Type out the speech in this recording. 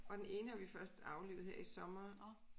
Og den ene har vi først aflivet her i sommer